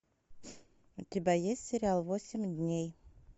у тебя есть сериал восемь дней